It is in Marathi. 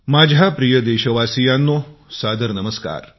माझ्या प्रिय देशवासीयांनो सादर नमस्कार